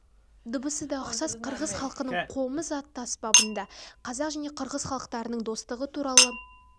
дыбысы да ұқсас қырғыз халқының қомыз атты аспабында қазақ және қырғыз халықтарының достығы туралы